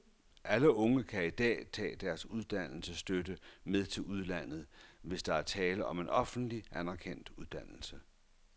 Alle unge kan i dag tage deres uddannelsesstøtte med til udlandet, hvis der er tale om en offentlig anerkendt uddannelse.